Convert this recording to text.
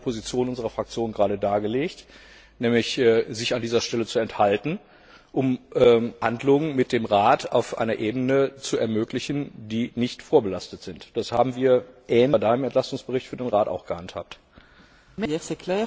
Aber ich habe die Position unserer Fraktion gerade dargelegt, nämlich uns an dieser Stelle zu enthalten, um Verhandlungen mit dem Rat auf einer Ebene zu ermöglichen, die nicht vorbelastet ist. Das haben wir bei Deinem Entlastungsbericht für den Rat auch ähnlich gehandhabt.